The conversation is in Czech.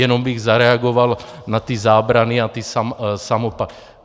Jenom bych zareagoval na ty zábrany a ty samopaly.